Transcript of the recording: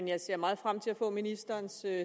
jeg ser meget frem til at få ministerens